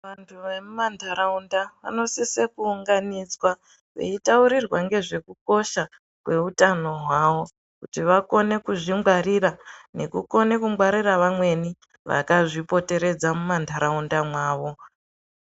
Vandu vemumandaraunda vanosise kuunganidza veitaurirwa ngezvekukosha kwehutano hwawo kuti vakone kuzvingwarira nekukone kungwarira vamweni vakazvipoteredza mumandaraunda mwavo.